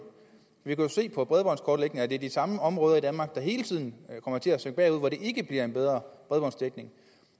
vi kan jo se på bredbåndskortlægningen at det er de samme områder i danmark der hele tiden kommer til at sakke bagud og hvor der ikke bliver en bedre bredbåndsdækning